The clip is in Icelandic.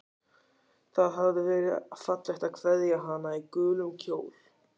Það hafði verið fallegt að kveðja hana í gulum kjól.